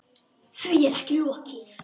Því er ekki lokið.